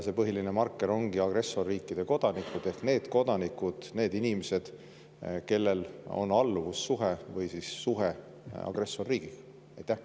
See põhiline marker ongi agressorriikide kodanikud ehk need kodanikud, need inimesed, kellel on alluvussuhe või siis suhe agressorriigiga.